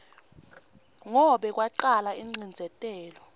ngo kwacala ingcindzetelo